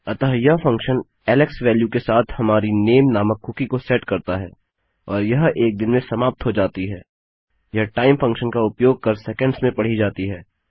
अतः यह function Alex value के साथ हमारी नामे नामक कुकी को सेट करता है और यह एक दिन में समाप्त हो जाती है - यह टाइम फंक्शन का उपयोग कर सेकंड्स में पढ़ी जाती है